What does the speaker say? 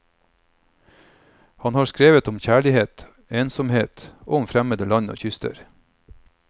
Han har skrevet om kjærlighet, ensomhet og om fremmede land og kyster.